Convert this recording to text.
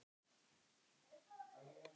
En mamma átti góða að.